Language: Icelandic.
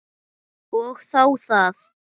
Og þá það.